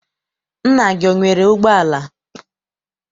Nna gị enwere ụgbọala?